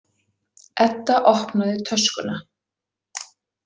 Edda opnaði töskuna.